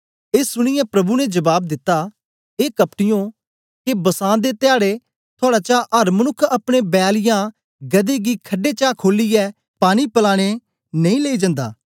ए सुनीयै प्रभु ने जबाब दिता ए कपटीयों के बसां दे धयाडै थुआड़े चा अर मनुक्ख अपने बैल या गदहे गी खड्डे चा खोलियै पानी पलाने नेई लेई जन्दा